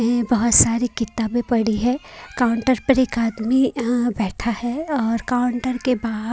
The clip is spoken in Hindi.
ये बहुत सारी किताबें पढ़ी है काउंटर पर एक आदमी अ बैठा है और काउंटर के बाहार--